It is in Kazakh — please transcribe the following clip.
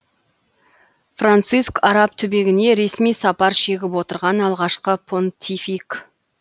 франциск араб түбегіне ресми сапар шегіп отырған алғашқы понтифик